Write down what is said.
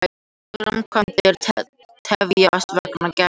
Framkvæmdir tefjast vegna kærumála